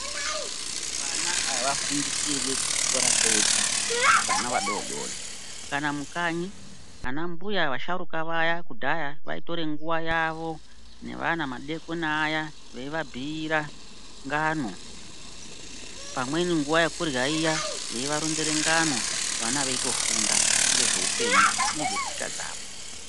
Vana havafundisirwi kuchikora kwega vana vadodori. Kana mukanyi vana mbuya vasharuka vaya kudhaya vaitore nguva yavo nevana madekoni aya veivabhuira ngano. Pamweni nguva yekurya iya veivaronzere ngano vana veitofunda ngezveupenyu nezvetsika dzavo.